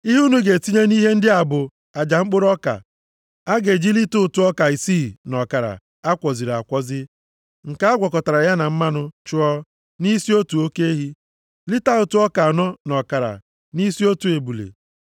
Ihe unu ga-etinye nʼihe ndị a bụ aja mkpụrụ ọka a ga-eji lita ụtụ ọka isii na ọkara a kwọziri akwọzi, nke a gwakọtara ya na mmanụ chụọ, nʼisi otu oke ehi. Lita ụtụ ọka anọ na ọkara, nʼisi otu ebule,